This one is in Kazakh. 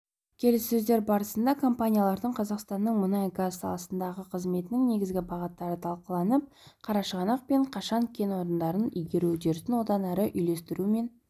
келіссөздер барысында компаниялардың қазақстанның мұнай-газ саласындағы қызметінің негізгі бағыттары талқыланып қарашығанақ пен қашаған кен орындарын игеру үдерісін одан әрі үйлестіру мен